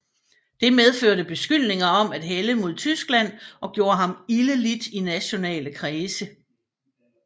Det medførte beskyldninger om at hælde mod Tyskland og gjorde ham ilde lidt i nationale kredse